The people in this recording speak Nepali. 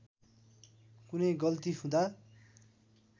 कुनै गल्ती हुँदा